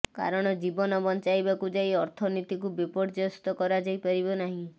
କାରଣ ଜୀବନ ବଞ୍ଚାଇବାକୁ ଯାଇ ଅର୍ଥନିତୀକୁ ବିପର୍ଯ୍ୟସ୍ତ କରାଯାଇ ପାରିବ ନାହିଁ